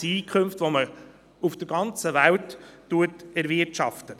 das sind Einkünfte, die man auf der ganzen Welt erwirtschaftet.